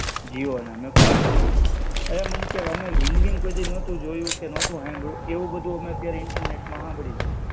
જીઓના મે કા અવે મને કે, અમારી જિંદગીમાં કોઈદી નતું જોયું કે નોતું હાંભળ્યું, એવું બધું અમે અત્યારે ઈન્ટરનેટમાં હાંભળ્યું.